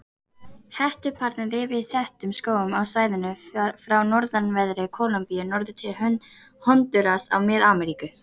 Hettuaparnir lifa í þéttum skógum á svæðinu frá norðanverðri Kólumbíu norður til Hondúras í Mið-Ameríku.